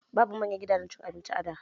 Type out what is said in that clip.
Babu manyan gidajen cin abinci a da